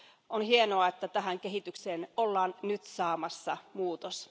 On hienoa, että tähän kehitykseen ollaan nyt saamassa muutos.